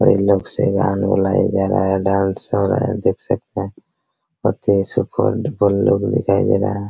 और ये लोगो से डांस हो रहा है देख सकते हैं लोग दिखाई दे रहा है ।